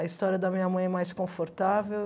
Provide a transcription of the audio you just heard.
A história da minha mãe é mais confortável.